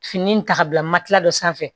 Fini ta ka bila matila dɔ sanfɛ